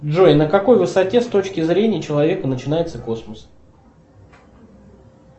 джой на какой высоте с точки зрения человека начинается космос